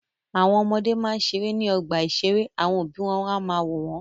Àwọn ọmọdé máa ń ṣeré ní ọgbà-ìṣeré àwọn òbí wọn á máa wò wọ́n.